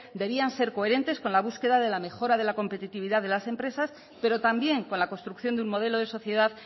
debían de ser coherentes con la búsqueda de la mejora de la competitividad de las empresas pero también con la construcción de un modelo de sociedad